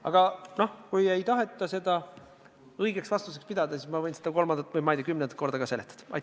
Aga noh, kui ei taheta seda õigeks vastuseks pidada, siis ma võin seda kolmandat või, ma ei tea, kümnendat korda ka seletada.